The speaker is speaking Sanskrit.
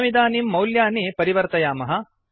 वयमिदानीं मौल्यानि परिवर्तयामः